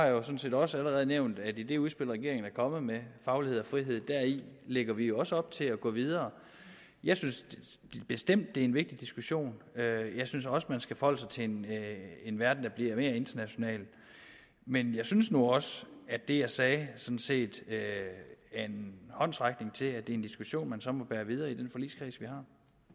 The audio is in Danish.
jo sådan set også allerede nævnt at i det udspil regeringen er kommet med faglighed og frihed lægger vi også op til at gå videre jeg synes bestemt det er en vigtig diskussion jeg synes også man skal forholde sig til en en verden der bliver mere international men jeg synes nu også at det jeg sagde sådan set er en håndsrækning til en diskussion som man så må bære videre i den forligskreds vi har